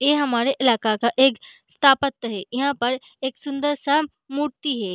ये हमारे इलाके का एक है यहाँ पर एक सूंदर सा मूर्ति है।